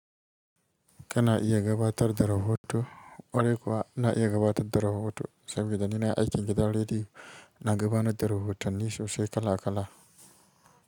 Ka na iya gabatar da rahoto, kwarai kuwa ina iya gabatar da rahoto saboda ni nayi aikin gida redeyo, na gaba na da rahotanni sosai kala kala.